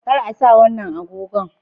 Kar a sa wannan agogon